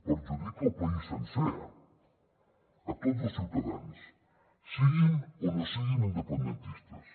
perjudica el país sencer a tots els ciutadans siguin o no siguin independentistes